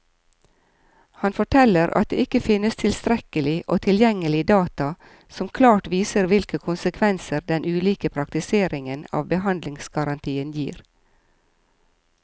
Han forteller at det ikke finnes tilstrekkelig og tilgjengelig data som klart viser hvilke konsekvenser den ulike praktiseringen av behandlingsgarantien gir.